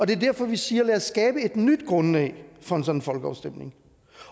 det er derfor vi siger lad os skabe et nyt grundlag for en sådan folkeafstemning